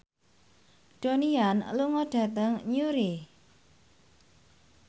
Donnie Yan lunga dhateng Newry